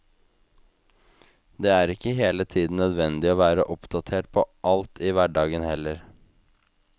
Det er ikke hele tiden nødvendig å være oppdatert på alt i hverdagen heller.